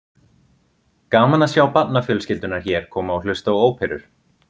Gaman að sjá barnafjölskyldurnar hér koma og hlusta á óperur.